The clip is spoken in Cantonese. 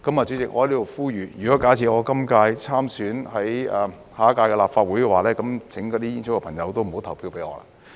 主席，我在此呼籲，假設我參選下一屆立法會的話，請那些煙草業的朋友不要投票給我。